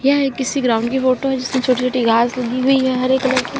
यह एक किसी ग्राउंड की फोटो है जिसमें छोटी छोटी घास उगी हुई है हरे कलर की।